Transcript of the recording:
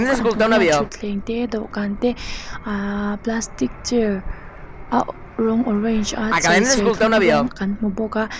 a hnuaiah thutthleng te dawhkan te aahh plastic chair a rawng orange a chei serthlum rawng kan hmu bawk a.